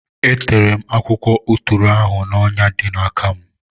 E tere m akwụkwọ atụrụ ahụ n’ọnya dị n’aka m.